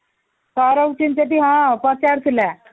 ସଉରା ହଁ ସେ ପଚାରୁଥିଲା